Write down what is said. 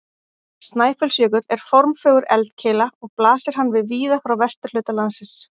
Snæfellsjökull er formfögur eldkeila og blasir hann við víða frá vesturhluta landsins.